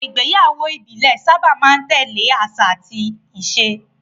Àwọn ìgbéyàwó ìbílẹ̀ sábà máa ń tẹ̀lé àṣà àti àṣà.